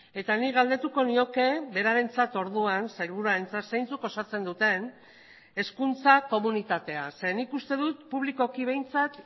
eta nik galdetuko nioke berarentzat orduan sailburuarentzat zeintzuk osatzen duten hezkuntza komunitatea zeren nik uste dut publikoki behintzat